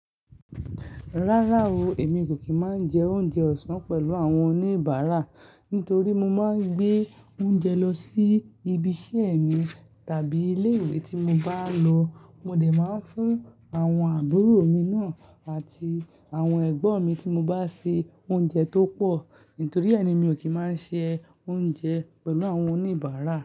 Rárá o, èmi kò kì í máa ń jẹ oúnjẹ ọ̀sán pẹ̀lú àwọn oníbàárà, nítorí mo máa ń gbé oúnjẹ lọ sí ibi iṣẹ́ mi tàbí ilé ìwé tí mo bá lọ. Mo dè máa ń fún àwọn àbúrò mi náà àti àwọn ẹ̀gbọ́n mi tí mo bá se oúnjẹ tó pọ̀. Nítorí ẹ ni mi ò kí máa ń se oúnjẹ pẹ̀lú àwọn oníbàárà.